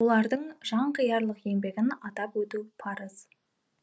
олардың жанқиярлық еңбегін атап өту парыз